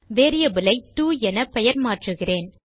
variable ஐ டோ என பெயர் மாற்றுகிறேன்